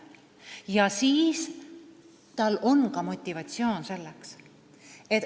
Siis tal on ka motivatsioon selleks.